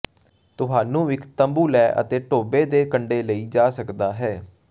ਤੁਹਾਨੂੰ ਇੱਕ ਤੰਬੂ ਲੈ ਅਤੇ ਟੋਭੇ ਦੇ ਕੰਢੇ ਲਈ ਜਾ ਸਕਦਾ ਹੈ